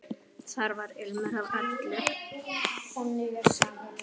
Þar var ilmur af öllu.